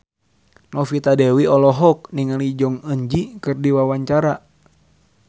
Novita Dewi olohok ningali Jong Eun Ji keur diwawancara